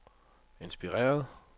inspireret